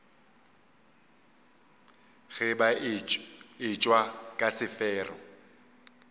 ge ba etšwa ka sefero